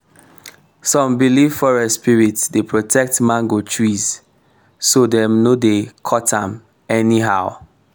some believe forest spirits dey protect mango trees so dem no dey cut am anyhow.